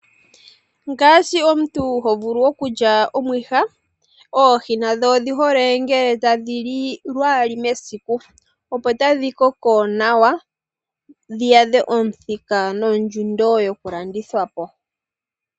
Ngaashi omuntu hovulu okulya omwiha, oohi nadho odhihole ngele tadhi li lwaali mesiku, opo tadhi koko nawa, dhi adhe omuthika nondjundo yokulandithwa po.